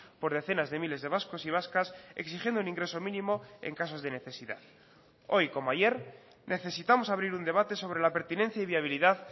por decenas de miles de vascos y vascas exigiendo un ingreso mínimo en casos de necesidad hoy como ayer necesitamos abrir un debate sobre la pertinencia y viabilidad